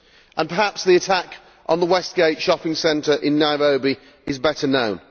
and perhaps the attack on the Westgate shopping centre in Nairobi is better known.